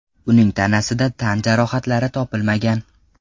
Uning tanasida tan jarohatlari topilmagan.